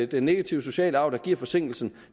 den negative sociale arv og forsinkelsen